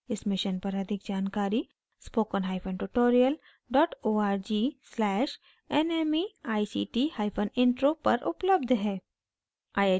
इस mission पर अधिक जानकारी spoken hyphen tutorial dot org slash nmeict hyphen intro पर उपलब्ध है